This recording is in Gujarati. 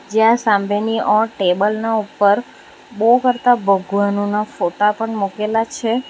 જ્યાં સામેની ઓર ટેબલ ના ઉપર બહુ બધા ભગવાનના ફોટા પણ મુકેલા છે.